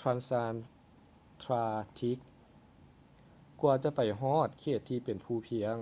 transantarctic ກວ່າຈະໄປຮອດເຂດທີ່ເປັນພູພຽງ